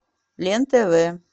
лен тв